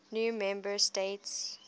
new member states